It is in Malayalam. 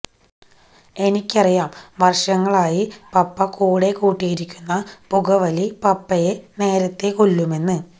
എനിക്കറിയാം വര്ഷങ്ങളായി പപ്പ കൂടെ കൂട്ടിയിരിക്കുന്ന പുകവലി പപ്പയെ നേരത്തെ കൊല്ലുമെന്ന്